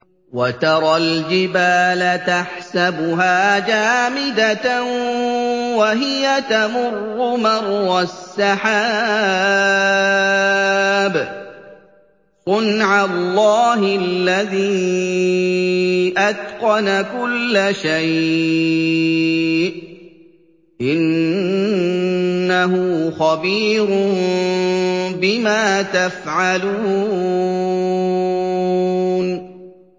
وَتَرَى الْجِبَالَ تَحْسَبُهَا جَامِدَةً وَهِيَ تَمُرُّ مَرَّ السَّحَابِ ۚ صُنْعَ اللَّهِ الَّذِي أَتْقَنَ كُلَّ شَيْءٍ ۚ إِنَّهُ خَبِيرٌ بِمَا تَفْعَلُونَ